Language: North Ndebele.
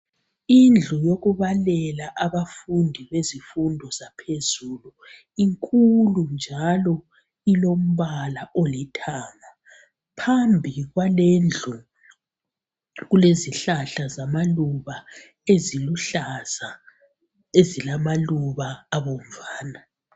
Indlu yokubalela abafundi bezifundo zaphezulu inkulu njalo ilombala olithanga phambi kwalendlu kulezihlahla zamaluba eziluhlaza ezilamaluba abomvana